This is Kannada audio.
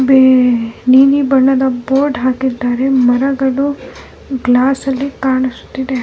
ಬೇ ನೀಲಿ ಬಣ್ಣದ ಬೋರ್ಡ್ ಹಾಕಿದ್ದಾರೆ ಮರಗಳು ಗ್ಲಾಸ್ ಅಲ್ಲಿ ಕಾಣಿಸುತ್ತಿದೆ.